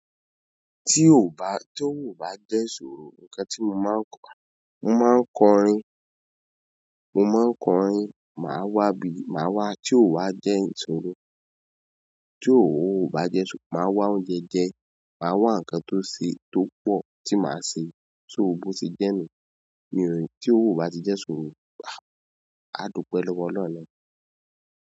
Tí ò bá, tí ò bá jẹ́ sọ̀rọ̀, ǹkan tí mo máa ń kọ, mo máa ń kọ orin, mo máa ń kọ orin, màá wá bí, màá wá tí ò wá jẹ́ ìsọ̀rọ̀. Tí ò bá jẹ́, màá wá oúnjẹ jẹ, màá wá ǹkan tó ae, tó pọ̀ tí màá se, so bo ee jẹ́ ni. Hm ti owo o ba ti jẹ ìṣòro, aa dupẹ lọwọ ọlọhun naani.